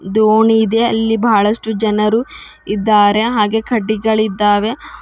ದೋಣಿ ಇದೆ ಅಲ್ಲಿ ಬಹಳಷ್ಟು ಜನರು ಇದ್ದಾರೆ ಹಾಗೆ ಕಡ್ಡಿಗಳಿದ್ದಾವೆ.